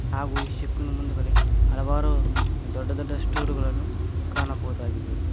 ಹಾಗು ಈ ಶಿಪ್ ನ ಮುಂದಗಡೆ ಹಲವಾರು ದೊಡ್ಡ ದೊಡ್ಡ ಸ್ಟುಡಗಳನ್ನು ಕಾಣಬಹುದಾಗಿದೆ.